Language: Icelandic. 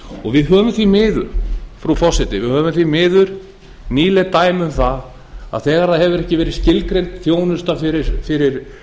og við höfum því miður frú forseti nýleg dæmi um það að þegar það hefur ekki verið skilgreind þjónusta fyrir